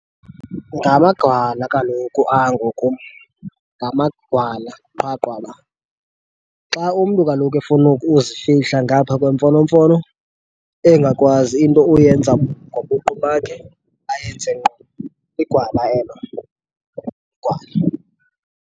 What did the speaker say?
Ngamagwala kaloku ango kum, ngamagwala qha qwaba. Xa umntu kaloku efuna uzifihla ngaphaa kwemfonomfono engakwazi into uyenza ngobuqu bakhe ayenze ngqo, ligwala elo, ligwala.